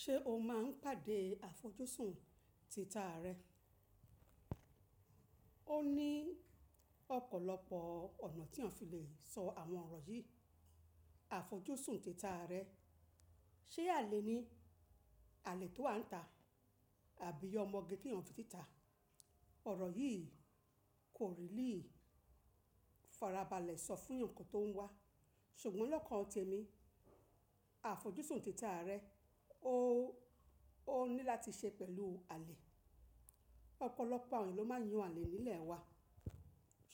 Ṣé o máa ń pàdé àfojúsùn tita rẹ? Ó ní ọ̀pọ̀lọpọ̀ ọ̀nà tí èyàn fi lè sọ àwọn ọ̀rọ̀ yìí. Àfojúsùn tita rẹ, ṣe àlè ni? Àlè tó wà níta àbí ọmọge tí a ń fi tita? Ọ̀rọ̀ yìí kò rí lì farabalẹ̀ sọ fún ǹkan tó ń wá, ṣùgbọ́n lọ́kàn ọtí mi, àfojúsùn tita rẹ ó ní láti ṣe pẹ̀lú àlè. Ọ̀pọ̀lọpọ̀ àwọn ènìyàn ló máa ń yan àlè nílẹ̀ wa,